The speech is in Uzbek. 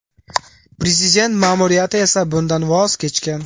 Prezident ma’muriyati esa bundan voz kechgan .